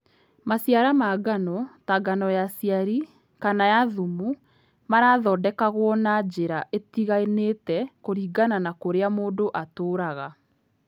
Maciara ma ngano, ta ngano ya cairi, kana ya thumu, marathondekagwo na njĩra itiganĩte kũringana na kũrĩa mũndũ atũũraga.